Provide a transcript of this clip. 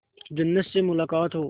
जन्नत से मुलाकात हो